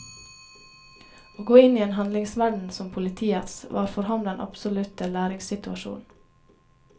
Å gå inn i en handlingsverden som politiets, var for ham den absolutte læringssituasjon.